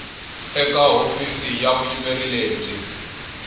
eka hofisi ya vuyimeri lebyi